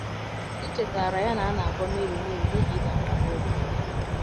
M chetaara ya na a na - agwọ Mary Mary n’ihi ịda mbà n’obi.